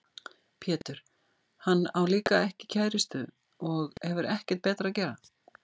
Pétur: Hann á líka ekki kærustu og hefur ekkert betra að gera.